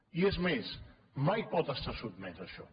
i és més mai pot estar sotmès a això